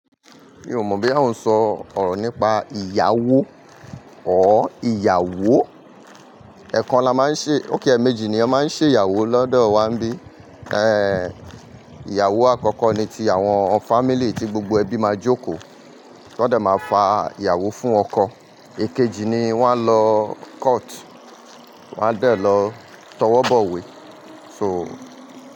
Mi ò mọ̀ bí ya oń sọ ọ̀rọ̀ nípa ìyàwó or ìyàwó. Ẹ̀ẹ̀kan la máa ń ṣe okay ẹmeejì ni a máa ń ṣe ìyàwó lọ́dọ̀ wa n bí. Ehn, ìyàwó àkọ́kọ́ ni ti àwọn family tí gbogbo ẹbí máa jókòó. Wọ́n dẹ̀ máa fa ìyàwó fún ọkọ. Ikeji ni wọ́n á lọ court, wọ́n á dẹ̀ lọ tọwọ́ bọ̀wé. So.